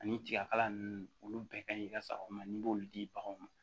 Ani tiga kala nunnu olu bɛɛ ka ɲi ka sagaw ma n'i b'olu di baganw ma